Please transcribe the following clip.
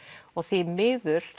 og því miður